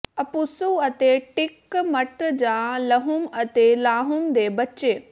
ਅਪੁਸੂ ਅਤੇ ਟਿਕਮਟ ਜਾਂ ਲਹਮੁ ਅਤੇ ਲਾਹਮੁ ਦੇ ਬੱਚੇ